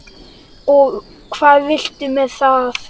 Og hvað viltu með það?